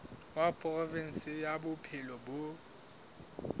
wa provinse ya bophelo bo